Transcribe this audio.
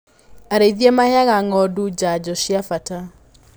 Arĩithia maheaga ng'ondu janjo cia bata.